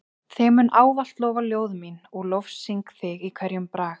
Þig munu ávallt lofa ljóð mín ég lofsyng þig í hverjum brag.